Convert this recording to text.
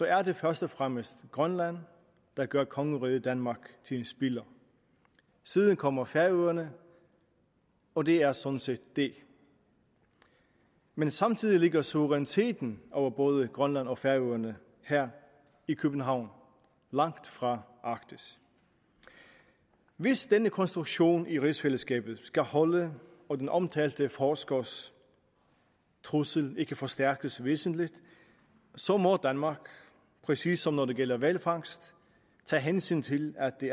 er det først og fremmest grønland der gør kongeriget danmark til en spiller siden kommer færøerne og det er sådan set det men samtidig ligger suveræniteten over både grønland og færøerne her i københavn langt fra arktis hvis denne konstruktion i rigsfællesskabet skal holde og den omtalte forskers trussel ikke forstærkes væsentligt så må danmark præcis som når det gælder hvalfangst tage hensyn til at det